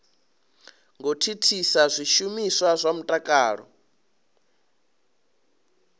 ngo thithisa zwishumiswa zwa mutakalo